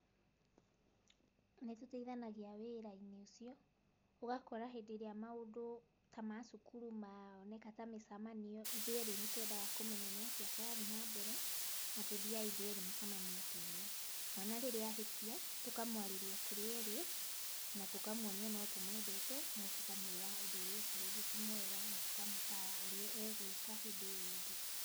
Nĩtũteithanagia wĩra-inĩ ũcio, ũgakora hĩndĩ ĩrĩa maũndũ ta ma cũkuru moneka ta mĩcamanio, ithuĩ erĩ nĩtwendaga kũmenya nĩ atĩa kũrathiĩ na mbere, na tũthiaga ithuĩ erĩ mĩcamanio ta ĩyo. Mwana rĩrĩa ahĩtia, tũkamwarĩria tũrĩ erĩ na tũkamuonia no tũmwendete no tũkamwĩra ũndũ ũrĩa eka rĩngĩ ti mwega na tũkamũtaara ũrĩa egwĩka hĩndĩ ĩyo ĩngĩ.